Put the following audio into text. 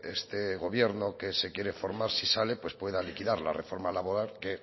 este gobierno que se quiere formar si sale pues pueda liquidar la reforma laboral que